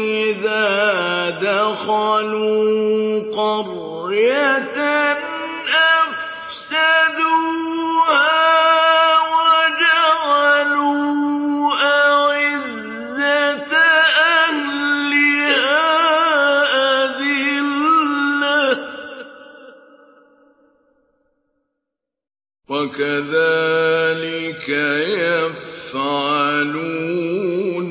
إِذَا دَخَلُوا قَرْيَةً أَفْسَدُوهَا وَجَعَلُوا أَعِزَّةَ أَهْلِهَا أَذِلَّةً ۖ وَكَذَٰلِكَ يَفْعَلُونَ